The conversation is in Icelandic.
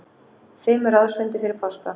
Fimm ráðsfundir fyrir páska